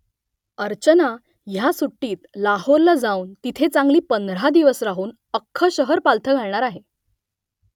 अर्चना ह्या सुट्टीत लाहोरला जाऊन तिथे चांगली पंधरा दिवस राहून अख्खं शहर पालथं घालणार आहे